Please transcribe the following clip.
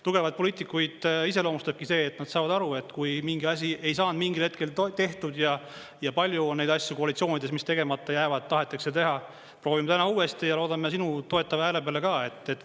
Tugevaid poliitikuid iseloomustabki see, et nad saavad aru, et kui mingi asi ei saanud mingil hetkel tehtud, ja palju on neid asju koalitsioonides, mis tegemata jäävad, tahetakse teha, proovime täna uuesti ja loodame sinu toetava hääle peale ka.